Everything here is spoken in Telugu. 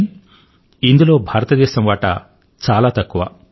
కానీ ఇందులో భారతదేశం వాటా చాలా తక్కువ